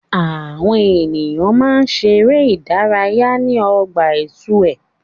Àwọn èèyàn máa ń ṣeré ìdárayá ní ọgbà itue.